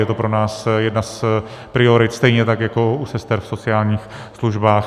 Je to pro nás jedna z priorit, stejně tak jako u sester v sociálních službách.